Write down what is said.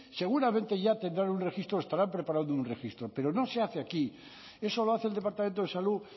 seguramente ya tendrán un registro o estarán preparado un registro pero no se hace aquí eso lo hace el departamento de salud